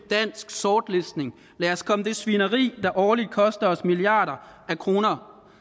dansk sortlistning lad os komme det svineri der årligt koster os milliarder af kroner